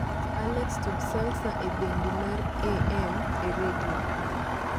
alexa tug salsa e bendi mar a.m. e redio